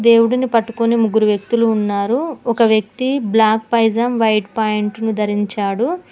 దేవుడిని పట్టుకొని ముగ్గురు వ్యక్తులు ఉన్నారు ఒక వ్యక్తి బ్లాక్ పైజామా వైట్ ప్యాంటు ను ధరించాడు.